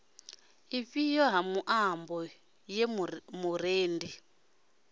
ifhio ya muambo ye murendi